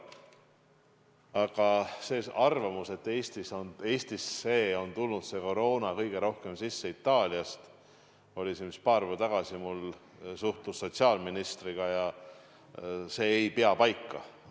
Aga see arvamus, et Eestisse on tulnud see koroona kõige rohkem sisse Itaaliast – ma suhtlesin paar päeva tagasi sotsiaalministriga –, ei pea paika.